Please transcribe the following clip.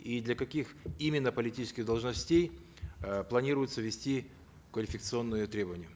и для каких именно политических должностей э планируется ввести квалификационные требования